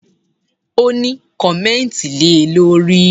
O ní, kọ̀mẹ́ntì le lórí!